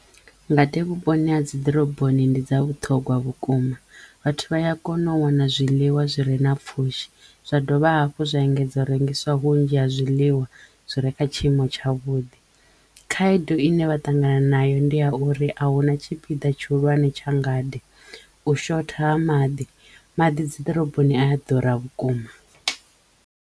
Ngade vhuponi ha dzi ḓoroboni ndi dza vhuṱhogwa vhukuma vhathu vha ya kono u wana zwiḽiwa zwi re na pfhushi zwa dovha hafhu zwa engedza u rengiswa vhunzhi ha zwiḽiwa zwi re kha tshiimo tsha tshavhuḓi. Khaedu ine vha ṱangana nayo ndi a uri ahuna tshipida tshihulwane tsha ngade u shotha ha maḓi, maḓi dzi ḓoroboni a ya ḓura vhukuma.